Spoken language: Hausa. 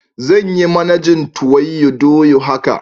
Zan yi managin tuwoydoya haka.